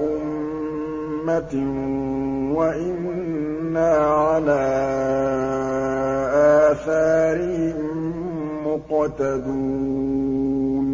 أُمَّةٍ وَإِنَّا عَلَىٰ آثَارِهِم مُّقْتَدُونَ